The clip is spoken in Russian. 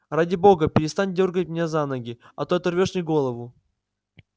ради бога перестань дёргать меня за ноги а то оторвёшь мне голову